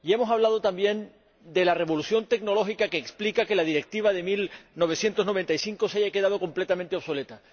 Y hemos hablado también de la revolución tecnológica que explica que la Directiva de 1995 se haya quedado completamente obsoleta.